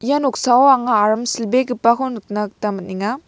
ia noksao anga aram silbegipako nikna gita man·enga.